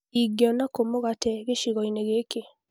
Ingĩona kũ mugate gĩcigo-inĩ gĩkĩ